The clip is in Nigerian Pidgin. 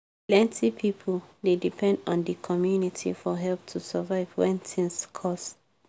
plenti pipo dey depend on d community for help to survive when tins cost.